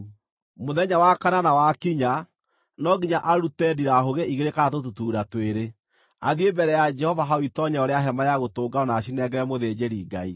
Mũthenya wa kanana wakinya, no nginya arute ndirahũgĩ igĩrĩ kana tũtutuura twĩrĩ, athiĩ mbere ya Jehova hau itoonyero rĩa Hema-ya-Gũtũnganwo na acinengere mũthĩnjĩri-Ngai.